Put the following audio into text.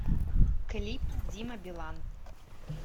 клип дима билан